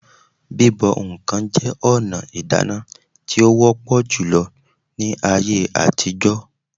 Bíbọ̀ ǹkan jẹ́ ọ̀nà ìdáná tí ó wọ́pọ̀ júlọ ní ayé àtijọ́